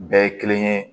Bɛɛ ye kelen ye